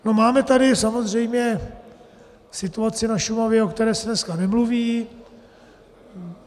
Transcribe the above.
Máme tady samozřejmě situaci na Šumavě, o které se dneska nemluví.